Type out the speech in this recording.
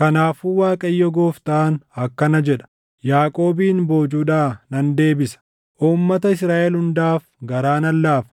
“Kanaafuu Waaqayyo Gooftaan akkana jedha: Yaaqoobin boojuudhaa nan deebisa; uummata Israaʼel hundaaf garaa nan laafa;